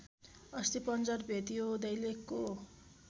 अस्थिपञ्जर भेटियो दैलेखको